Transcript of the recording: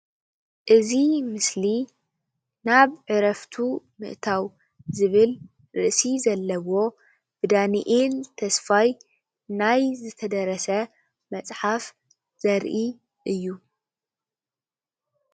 እዚ ምስሊ ናብ ዕረፍቱ ምእታው ዝብል ርእሲ ዘለዎ ብዳንኤል ተስፋይ ናይ ዝተደረስ መፅሓፍ ዘርኢ እዩ፡፡